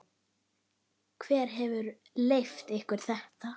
Hver hefur leyft ykkur þetta?